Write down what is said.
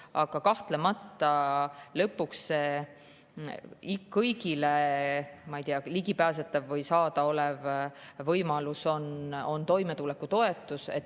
Aga kahtlemata, lõpuks on kõigile ligipääsetav või saadaolev võimalus toimetulekutoetus.